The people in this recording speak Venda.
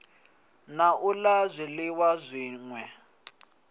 na u la zwiliwa zwine